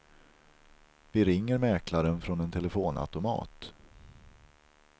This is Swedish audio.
Vi ringer mäklaren från en telefonautomat.